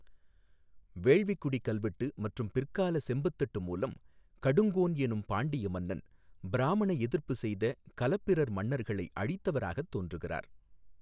வேள்விக்குடி கல்வெட்டு மற்றும் பிற்கால செம்புத் தட்டு மூலம், கடுங்கோன் எனும் பாண்டிய மன்னன் பிராமண எதிர்ப்பு செய்த கலப்பிரர் மன்னர்களை அழித்தவராக தோன்றுகிறார்.